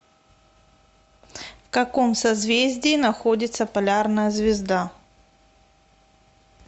в каком созвездии находится полярная звезда